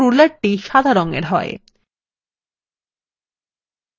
লক্ষ্য করুন সক্রিয় ruler সাদা রঙ এর you